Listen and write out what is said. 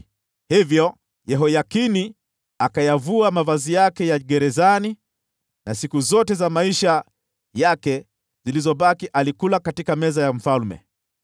Hivyo Yehoyakini akayavua mavazi yake ya mfungwa, na siku zote za maisha yake zilizobaki alikula mezani mwa mfalme.